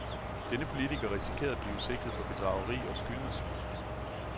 Denne politiker risikerer at blive sigtet for bedrageri og skyldnersvig.